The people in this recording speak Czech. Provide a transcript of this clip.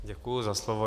Děkuji za slovo.